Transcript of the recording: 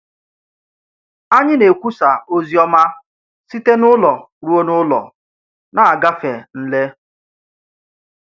Ányị̀ nà-ekwùsà òzìọ́má sị̀té n’ùlọ̀ rùo n’ùlọ̀, nà-àgà nlé